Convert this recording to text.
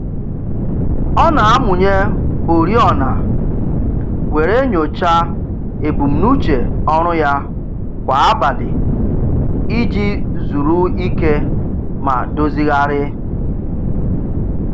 Ọ na-amụnye oriọna were nyocha ebumnuche ọrụ ya kwa abalị iji zuru ike ma dozighari.